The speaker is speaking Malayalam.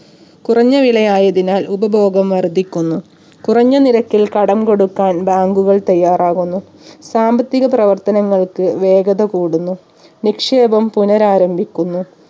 കുറഞ്ഞ വില ആയതിനാൽ ഉപഭോഗം വർധിക്കുന്നു കുറഞ്ഞ നിരക്കിൽ കടം കൊടുക്കാൻ bank ഉകൾ തയ്യാറാവുന്നു സാമ്പത്തിക പ്രവർത്തനങ്ങൾക്ക് വേഗത കൂടുന്നു നിക്ഷേപം പുനരാരംഭിക്കുന്നു